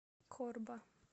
корба